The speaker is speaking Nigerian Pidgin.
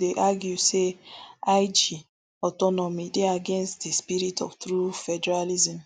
dey argue say lg autonomy dey against di spirit of true federalism